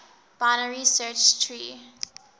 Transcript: binary search tree